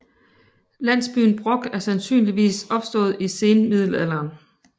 Landsbyen Brok er sandsynligvis opstået i senmiddelalderen